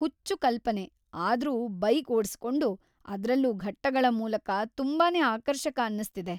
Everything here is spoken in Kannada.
ಹುಚ್ಚು ಕಲ್ಪನೆ, ಆದ್ರೂ ಬೈಕ್‌ ಓಡ್ಸಿಕೊಂಡು, ಅದ್ರಲ್ಲೂ ಘಟ್ಟಗಳ ಮೂಲಕ, ತುಂಬಾನೇ ಆಕರ್ಷಕ ಅನ್ನಿಸ್ತಿದೆ.